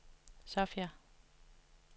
Sofia